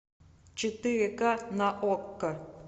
четыре ка на окко